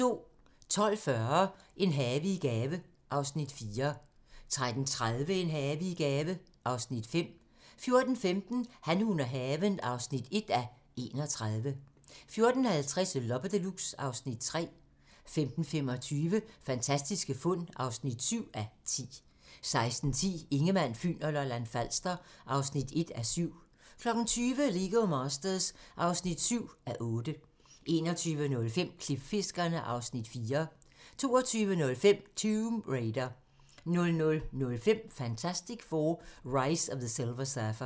12:40: En have i gave (Afs. 4) 13:30: En have i gave (Afs. 5) 14:15: Han, hun og haven (1:31) 14:50: Loppe Deluxe (Afs. 3) 15:25: Fantastiske fund (7:10) 16:10: Ingemann, Fyn og Lolland-Falster (1:7) 20:00: Lego Masters (7:8) 21:05: Klipfiskerne (Afs. 4) 22:05: Tomb Raider 00:05: Fantastic Four: Rise of the Silver Surfer